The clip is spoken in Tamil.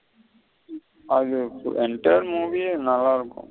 அது movie நல்ல இருக்கும்.